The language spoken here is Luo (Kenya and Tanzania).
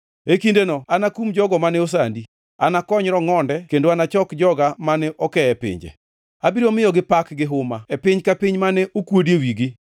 E kindeno anakum jogo mane osandi, anakony rongʼonde kendo anachok joga mane oke e pinje. Abiro miyogi pak gi huma e piny ka piny mane okuodie wigi.